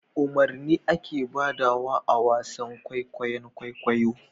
Umarni ake badawa awasan kwaikwayon kwaikwayo